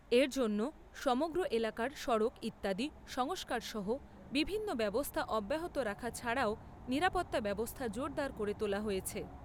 এর জন্য সমগ্র এলাকার সড়ক ইত্যাদি সংস্কার সহ বিভিন্ন ব্যবস্থা অব্যাহত রাখা ছাড়াও নিরাপত্তা ব্যবস্থা জোরদার করে তোলা হয়েছে।